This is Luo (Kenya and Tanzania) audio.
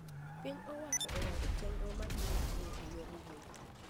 Piny owacho oyango chendro mabiro tiyo e yor mbui